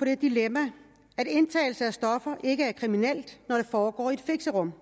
det dilemma at indtagelse af stoffer ikke er kriminelt når det foregår i fixerum